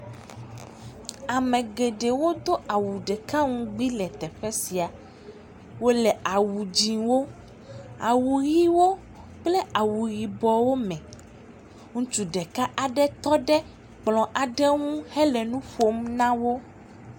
Ame geɖe Do awu ɖeka ŋugbi le teƒe sia. Wòle awu dzɛwo, awu ɣiwo kple awu yibɔ me. Ŋutsu ɖeka aɖe tɔ ɖe kplɔ aɖe ŋu hele nuƒom nawò.